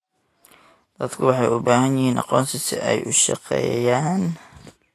Dadku waxay u baahan yihiin aqoonsi ay ku shaqeeyaan.